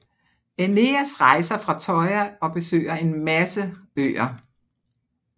Æneas rejser fra Troja og besøger en masse øer